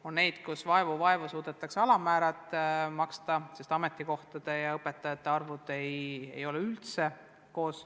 On kohti, kus vaevu-vaevu suudetakse alammäära maksta, sest ametikohtade ja õpetajate arvud ei ole üldse vastavuses.